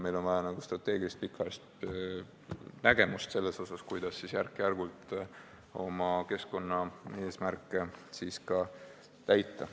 Meil on vaja strateegilist, pikaajalist nägemust, kuidas siis järk-järgult oma keskkonnaeesmärke täita.